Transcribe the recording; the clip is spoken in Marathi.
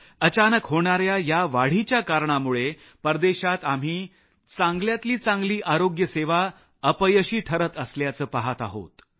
अचानक होणारऱ्या या वाढीच्या कारणामुळे परदेशात आम्ही चांगल्यातली चांगली आरोग्य सेवा अपयशी ठरत असल्याचं पहात आहोत